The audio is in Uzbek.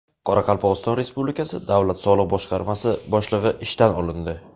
Qoraqalpog‘iston Respublikasi davlat soliq boshqarmasi boshlig‘i ishdan olindi.